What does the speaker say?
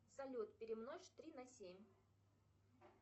салют перемножь три на семь